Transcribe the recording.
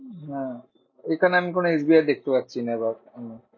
হ্যাঁ, এখানে আমি কোনো এস বি আই দেখতে পারছি না। বা